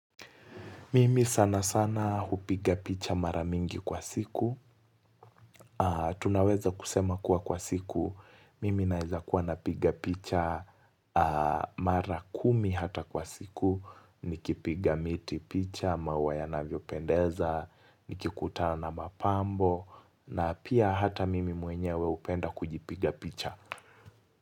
Mimi sana sana hupiga picha mara mingi kwa siku. Tunaweza kusema kuwa kwa siku. Mimi naeza kuwa napiga picha mara kumi hata kwa siku. Nikipiga miti picha, maua yanavyopendeza, nikikutana na mapambo. Na pia hata mimi mwenyewe hupenda kujipiga picha.